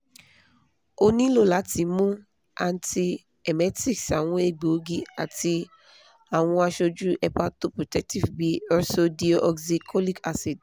o nilo lati mu antiemetics àwọn egboogi ati àwọn aṣoju hepatoprotective bi ursodeoxycholic acid